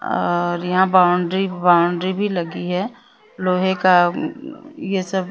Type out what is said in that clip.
और यहां पर बाउंड्री बाउंड्री भी लगी है लोहे का ये सब--